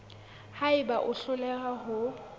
ha eba o hloleha ho